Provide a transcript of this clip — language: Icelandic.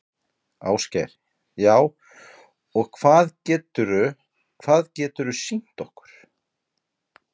Ásgeir: Já, og hvað geturðu, hvað geturðu sýnt okkur?